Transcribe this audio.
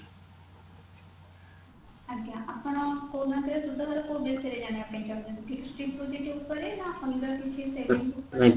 ଆଜ୍ଞା ଆପଣ କୋଉ bank ରେ ସୁଧ ଲଗେଇବେ ବିଷୟରେ ଜାଣିବା ଚାହୁଁଛନ୍ତି fixed deposit ଉପରେ ନା ଅଲଗା କିଛି